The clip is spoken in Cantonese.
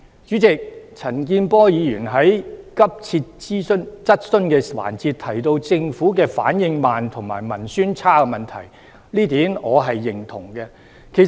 主席，陳健波議員在急切質詢環節，提到政府反應慢及文宣差的問題，這點我是認同的。